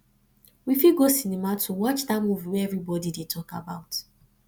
we fit go cinema to watch that movie wey everybody dey talk about